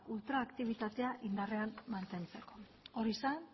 ultraaktibitatea indarrean mantentzeko hori zen